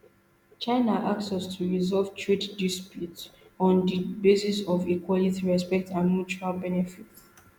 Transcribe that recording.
china ask us to resolve trade disputes on di basis of equality respect and mutual benefit